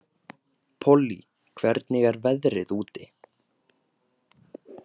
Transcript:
Pollý, hvernig er veðrið úti?